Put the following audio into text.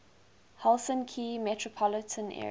helsinki metropolitan area